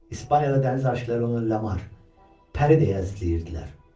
İspaniyada dəniz aşiqiləri onu Lamar, Peri də əzizləyirdilər.